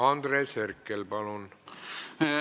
Andres Herkel, palun!